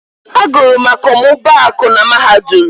Agụrụ m akọmmụbaaku na Mahadum.